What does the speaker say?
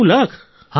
90 lakh